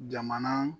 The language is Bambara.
Jamana